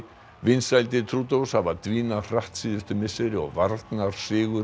vinsældir Trudeaus hafa dvínað hratt síðustu misseri og varnarsigur